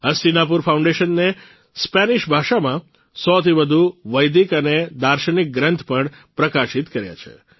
હસ્તિનાપુર ફાઉન્ડેશને સ્પેનિશ ભાષામાં ૧૦૦થી વધુ વૈદિક અને દાર્શનિક ગ્રંથ પણ પ્રકાશિત કર્યા છે